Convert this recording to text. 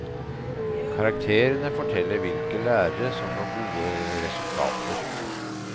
Karakterene forteller hvilke lærere som får gode resultater.